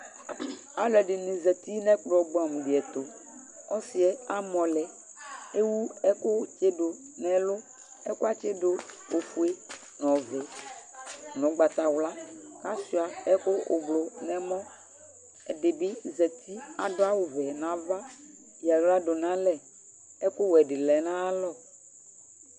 alu dini zati nu ɛkplɔ bua di ɛtu ɔsiɛ amɔ lɛ ewu ɛku tsidu nu ɛlu ɛkuɛ atsi du ɔfue nu ɔvɛ nu ugbata wla ashua ɛku blɔ nu ɛmɔ ɛdibi zati adua awu vɛ nu ava ya aɣla du n'alɛ ɛku wɛ lɛ nu aya lɔ